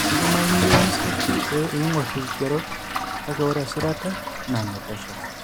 Keidimayu niyieu nisir pee iing'or irkigerot, kake ore esirata naa enepesho.